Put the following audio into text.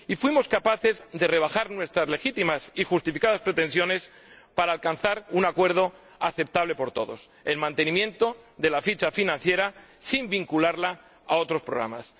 Fuimos capaces de rebajar nuestras legítimas y justificadas pretensiones para alcanzar un acuerdo aceptable por todos el mantenimiento de la ficha financiera sin vincularla a otros programas.